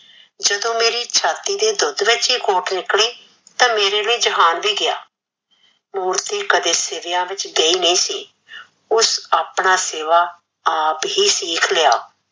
ਜਦੋਂ ਮੇਰੀ ਛਾਤੀ ਦੇ ਦੁੱਧ ਵਿੱਚ ਹੀ ਖੋਟ ਨਿਕਲੀ ਤਾਂ ਮੇਰੇ ਲਈ ਜਹਾਨ ਵੀ ਗਿਆ ਮੂਰਤੀ ਕਦੇ ਸੀਵਿਆ ਵਿੱਚ ਗਈ ਨਹੀਂ ਸੀ, ਉਸ ਆਪਣਾ ਸਿਵਾ ਆਪ ਹੀ ਸੀਖ ਲਿਆ